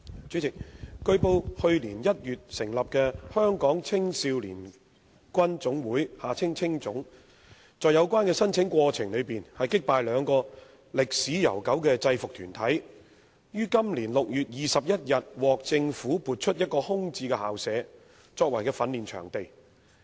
主席，據報，去年1月成立的香港青少年軍總會在有關的申請過程中，擊敗兩個歷史悠久的制服團體，於今年6月21日獲政府批出一個空置校舍，作為其訓練場地。